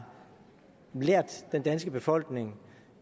lært den danske befolkning